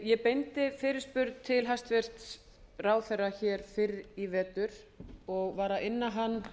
ég beindi fyrirspurn til hæstvirts ráðherra fyrr í vetur og var að inna hann